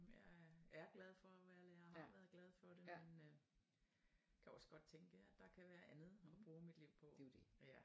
Men jeg er er glad for at være lærer og har været glad for det men øh kan også godt tænke at der kan være andet og bruge mit liv på